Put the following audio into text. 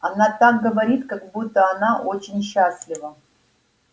она так говорит как будто она очень счастлива